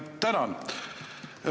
Tänan!